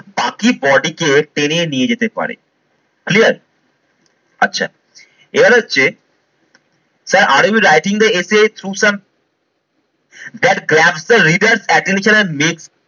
বাকি body কে টেনে নিয়ে যেতে পারে clear? আচ্ছা এবারে হচ্ছে sir are we writing the essay through some that grab the reader attention as made